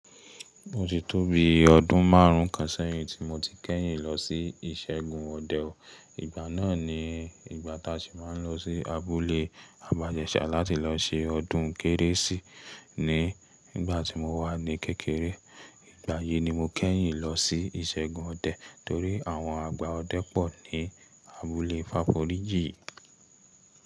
O ti tóbi ọdún máarùn kan sẹ́yìn tí mo ti kẹ́yìn lọ sí ìṣẹ́gun ọdẹ o. Ìgbà náà ni ìgbà tá ṣi máa ń lọ sí abúlé Abajẹṣà láti lọ se ọdún kérésì ní ìgbà tí mo wà ní kékeré. Ìgbà yìí ni mo kẹ́yìn lọ sí ìṣẹ́gun ọdẹ torí àwọn àgbà ọdẹ pọ̀ ní abúlé Fáforíjì.